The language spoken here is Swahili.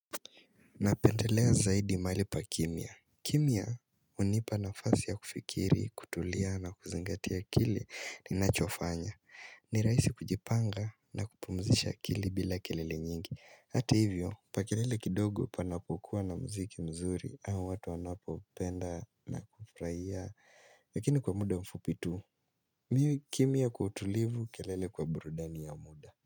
Napendelea zaidi maali pa kimya kimya hunipa nafasi ya kufikiri, kutulia na kuzingatia kile ninachofanya ni rahisi kujipanga na kupumzisha akili bila kelele nyingi Hata hivyo pa kelele kidogo pana kuwa na muziki mzuri au watu wanapo penda na kufuraia Lakini kwa muda mfupi tu kimya kwa utulivu kelele kwa burudani ya muda.